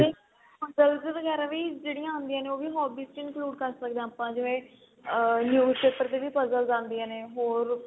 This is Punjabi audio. ਵਗੈਰਾ ਵੀ ਜਿਹੜੀ ਆ ਆਉਂਦੀਆਂ ਨੇ hobbies ਚ include ਕਰ ਸਕਦੇ ਆ ਆਪਾਂ ਜਿਵੇਂ ਆ news paper ਚ ਵੀ puzzles ਆਦੀਆਂ ਨੇ ਹੋਰ